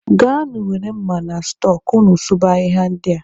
Gaanụ were mma na stọọ ka unu sụba ahịhịa ndị a.